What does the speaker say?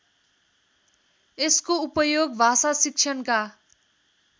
यसको उपयोग भाषाशिक्षणका